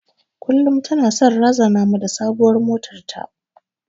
Kullum tana son razana mu da sabuwar motar ta.